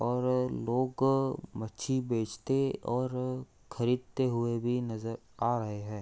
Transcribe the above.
और लोग मच्छी बेचते और खरीदते हुए भी नजर आ रहे है।